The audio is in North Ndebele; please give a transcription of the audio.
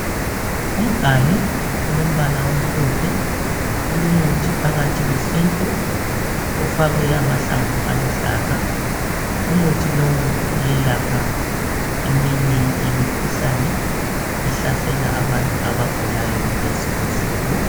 Umganu. olombala omhlophe olomuthi phakathi wesiNtu ofakwe amahlamvu aluhlaza. Umuthi lo uyelapha eminye yemikhuhlane ehlasela abantu abagulayo kulezi insuku.